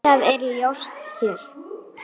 Samband hélst þó áfram.